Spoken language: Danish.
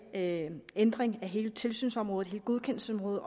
ændring af hele tilsynsområdet hele godkendelsesområdet